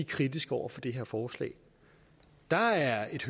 kritiske over for det her forslag der er et